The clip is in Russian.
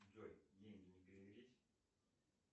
джой деньги не перевелись